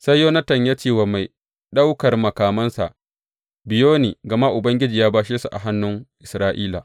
Sai Yonatan ya ce wa mai ɗaukan makamansa, Biyo ni, gama Ubangiji ya bashe su a hannun Isra’ila.